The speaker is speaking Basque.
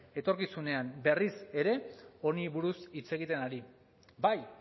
etorkizunean berriz ere honi buruz hitz egiten ari bai